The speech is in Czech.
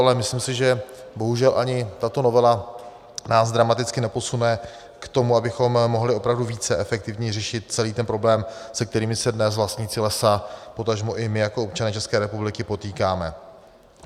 Ale myslím si, že bohužel ani tato novela nás dramaticky neposune k tomu, abychom mohli opravdu více efektivně řešit celý ten problém, se kterým se dnes vlastníci lesa, potažmo i my jako občané České republiky potýkáme.